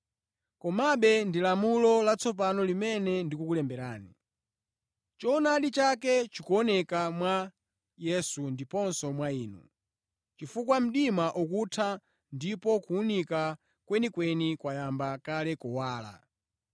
Komabe ndi lamulo latsopano limene ndikukulemberani. Choonadi chake chikuoneka mwa Yesu ndiponso mwa inu, chifukwa mdima ukutha ndipo kuwunika kwenikweni kwayamba kale kuwala.